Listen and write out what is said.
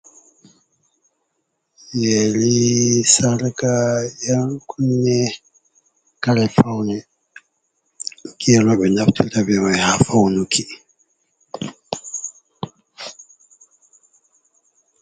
Yeri sarka yankunne kare faune je roɓe naftirta be man ha faunuki.